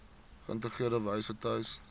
geïntegreerde wyse tuis